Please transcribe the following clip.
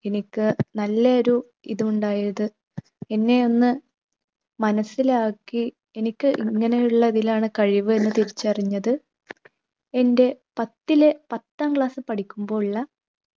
എനിക്ക് നല്ല ഒരു ഇത് ഉണ്ടായത്, എന്നെ ഒന്ന് മനസിലാക്കി എനിക്ക് ഇങ്ങനെയുള്ളതിലാണ് കഴിവ് എന്ന് തിരിച്ചറിഞ്ഞത് എൻ്റെ പത്തിൽ പത്താം class ൽ പഠിക്കുമ്പോഴുള്ള